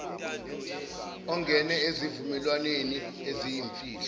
ungene ezivumelwaneni eziyimfihlo